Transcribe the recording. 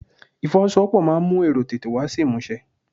Ifowosowopo máa ń mú èrò tètè wá sí ìmúṣẹ.